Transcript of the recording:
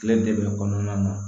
Kile de bɛ kɔnɔna na